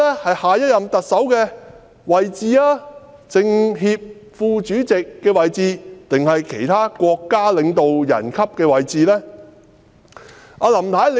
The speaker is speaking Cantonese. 是下一任特首的位置、是政協副主席的位置，還是其他國家領導人級的位置呢？